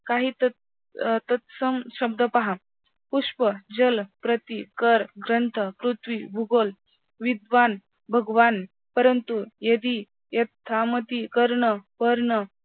काही तत् अं तत्सम शब्द पहा पुष्प, जल, प्रति, कर, दंत, पृथ्वी, भूगोल, विद्वान, भगवान, परंतु, यदी, कर्ण, पर्ण